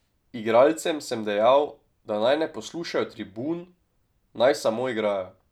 Igralcem sem dejal, da naj ne poslušajo tribun, naj samo igrajo.